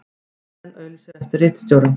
Eyjan auglýsir eftir ritstjóra